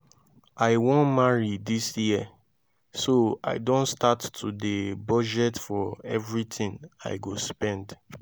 i wan marry dis year so i don start to dey budget for everything i go spend